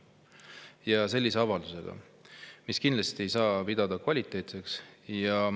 Ja seda avaldusega, mida kindlasti ei saa pidada kvaliteetseks.